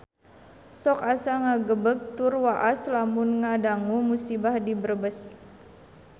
Sok asa ngagebeg tur waas lamun ngadangu musibah di Brebes